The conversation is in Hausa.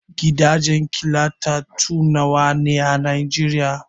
Gidajen killatattu nawa ne a Nigeria?